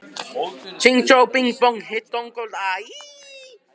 Breiðabólsstað, sigldi frá Íslandi.